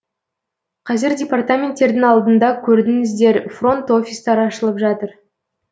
қазір департаменттердің алдында көрдіңіздер фронт офистар ашылып жатыр